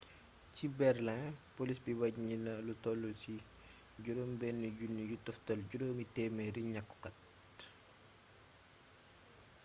ci berlin poliis bi waññi na lu toll ci 6500 ñaxtukat